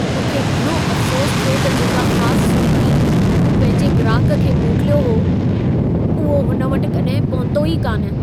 मूंखे घणो अफ़सोसु थियो त जेका ख़ासु सूखिड़ी मूं पंहिंजे ग्राहक खे मोकिलियो हो, उहो हुन वटि कड॒हिं पहुतो ई कान!